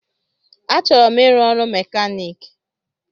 Achọrọ m ịrụ ọrụ mekanik